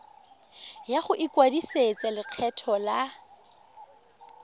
ya go ikwadisetsa lekgetho la